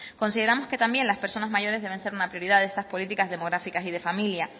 consideramos que también las personas mayores deben ser una prioridad de estas políticas demográficas y de familia